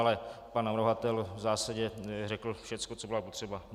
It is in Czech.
Ale pan navrhovatel v zásadě řekl všecko, co bylo potřeba.